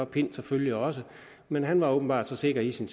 pind selvfølgelig også men han var åbenbart så sikker i sin